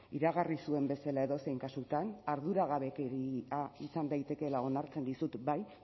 iragarri zuen bezala edozein kasutan arduragabekia izan daitekeela onartzen dizut bai